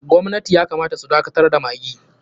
Gwamnatin ya kamata su dakatar da maggi.